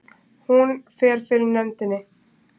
Hún fer fyrir nefndinni